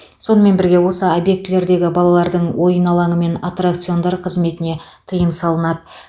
сонымен бірге осы объектілердегі балалардың ойын алаңы мен аттракциондар қызметіне тыйым салынады